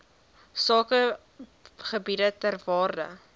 sakegebiede ter waarde